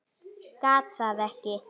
Gat það ekki.